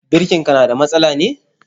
Birkin ka na da matsala ne?